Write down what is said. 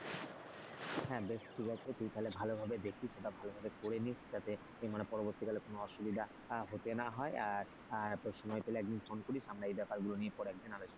হ্যাঁ বেশ ঠিক আছে তুই তাহলে ভালোভাবে দেখিস ওটা ভালোভাবে করে নিস যাতে মানে পরবর্তীকালে কোন অসুবিধা হতে না হয় আর সময় পেলে আর একদিন ফোন করিস আমরা ব্যাপার গুলো নিয়ে পরে একদিন আলোচনা করব,